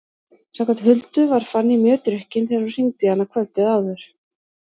Samkvæmt Huldu var Fanný mjög drukkin þegar hún hringdi í hana kvöldið áður.